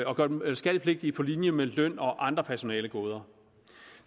og gør dem skattepligtige på linje med løn og andre personalegoder